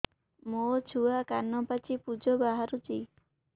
ମୋ ଛୁଆ କାନ ପାଚି ପୂଜ ବାହାରୁଚି